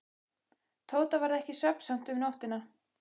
Tóta varð ekki svefnsamt um nóttina.